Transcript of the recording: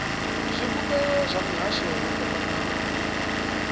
zwivhumbeo zwa mihasho yo fhambanaho